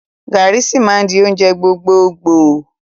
Garri sì máa di oúnjẹ gbogbogboo